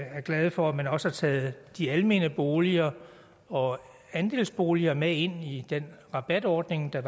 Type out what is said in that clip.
er glade for at man også har taget de almene boliger og andelsboligerne med ind i den rabatordning der